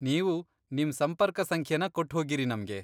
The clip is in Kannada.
ನೀವು ನಿಮ್ ಸಂಪರ್ಕ ಸಂಖ್ಯೆನ ಕೊಟ್ಟ್ ಹೋಗಿರಿ ನಮ್ಗೆ.